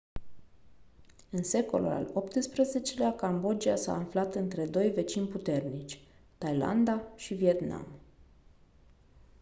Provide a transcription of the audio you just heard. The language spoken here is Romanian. în secolul al xviii-lea cambodgia s-a aflat între doi vecini puternici thailanda și vietnam